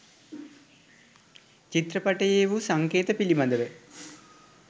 චිත්‍ර පටයේ වු සංකේත පිළිබඳව